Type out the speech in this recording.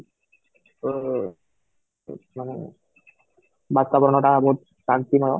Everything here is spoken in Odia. ତ ଏଇଠାନେ ବାତାବରଣ ଟା ବହୁତ ଶାନ୍ତିମୟ